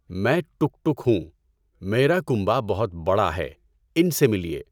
میں ٹُک ٹُک ہوں۔ میرا کنبہ بہت بڑا ہے، ان سے ملئے۔